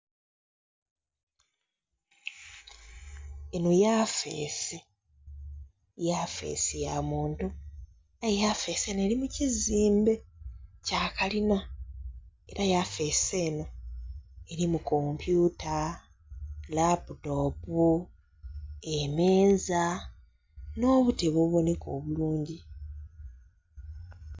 Enho yafeesi, yafeesi ya muntu. Aye yafeesi enho eli mu kizimbe kya kalina, era yafeesi enho elimu kompyuta, laputopu, emeeza, nh'obutebe obubonheka obulungi.